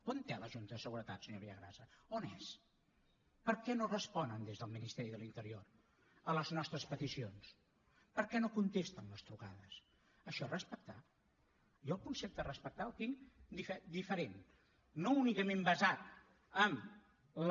on és la junta de seguretat senyor villagrasa on és per què no responen des del ministeri de l’interior a les nostres peticions per què no contesten les trucades això és respectar jo el concepte respectar el tinc diferent no únicament basat en la